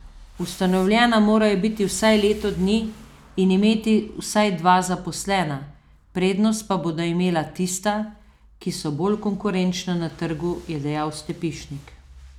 Ustanovljena morajo biti vsaj leto dni in imeti vsaj dva zaposlena, prednost pa bodo imela tista, ki so bolj konkurenčna na trgu, je dejal Stepišnik.